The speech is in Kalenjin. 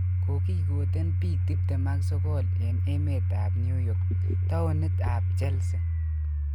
Kogigiten pik 29 en emet ap Newyork townit ap Chelsea.